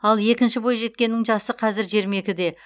ал екінші бойжеткеннің жасы қазір жиырма екіде